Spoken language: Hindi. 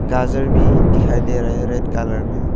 गाजर भी दिखाई दे रहा है रेड कलर में--